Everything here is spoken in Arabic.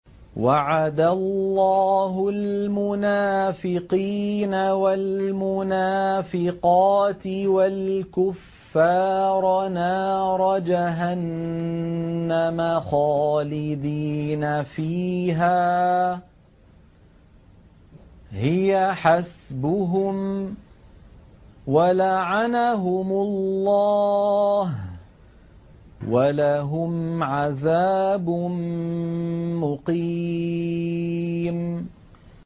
وَعَدَ اللَّهُ الْمُنَافِقِينَ وَالْمُنَافِقَاتِ وَالْكُفَّارَ نَارَ جَهَنَّمَ خَالِدِينَ فِيهَا ۚ هِيَ حَسْبُهُمْ ۚ وَلَعَنَهُمُ اللَّهُ ۖ وَلَهُمْ عَذَابٌ مُّقِيمٌ